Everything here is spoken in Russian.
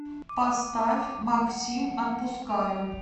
поставь максим отпускаю